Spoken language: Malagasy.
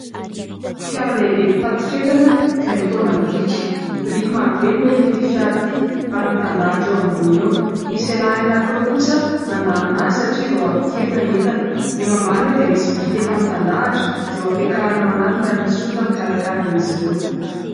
Fiara lehibe mpitatitra entana izay mitaona biriky. Biriky maro be no entin'ity fiara ity ary mitandahatra eo amboniny eo. Misy lehilahy anankiroa kosa mandamina azy satria vao ampidirina ny entana. Eo ambany eo dia misy biriky efa mitandahatra izay hampiakarina ao anatiny ary misy olona mikarakara an'izy ireo.